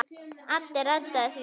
Addi reddaði því.